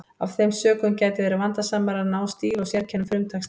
Af þeim sökum gæti verið vandasamara að ná stíl og sérkennum frumtextans.